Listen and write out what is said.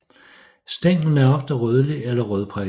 Stænglen er ofte rødlig eller rødprikket